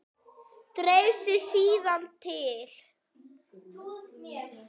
Dreif sig síðan til